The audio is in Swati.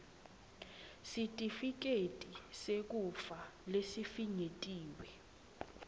sitifiketi sekufa lesifinyetiwe